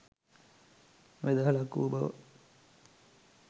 වෙදහලක් වූ බව